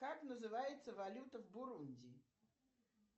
как называется валюта в бурундии